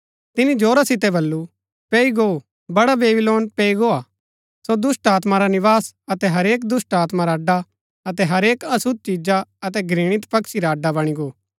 तिनी जोरा सितै बल्लू पैई गो बड़ा बेबीलोन पैई गोआ सो दुष्‍टात्मा रा निवास अतै हरेक दुष्‍टात्मा रा अड्डा अतै हरेक अशुद्ध चिजा अतै घृणित पक्षी रा अड्डा बणी गो